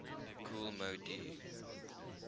kool moe dee